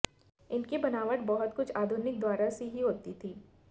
इनकी बनावट बहुत कुछ आधुनिक द्वारों सी ही होती थी